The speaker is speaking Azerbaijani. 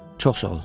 Çox sağ ol.